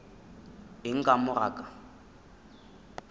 eng ka mo ga ka